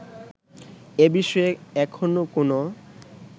এ বিষয়ে এখনো কোন